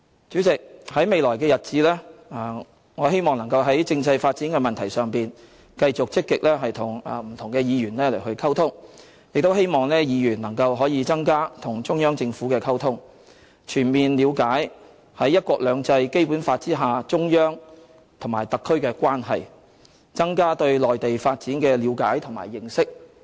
主席，在未來的日子，我希望能夠在政制發展的問題上，繼續積極與不同議員溝通，亦希望議員能夠增加與中央政府的溝通，全面了解中央和特區在"一國兩制"和《基本法》下的關係，增加對內地發展的了解和認識。